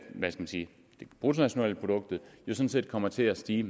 bruttonationalproduktet sådan set kommer til at stige